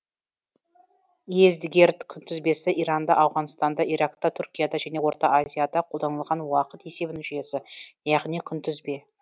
йездигерд күнтізбесі иранда ауғанстанда иракта түркияда және орта азияда қолданылған уақыт есебінің жүйесі яғни күнтізбе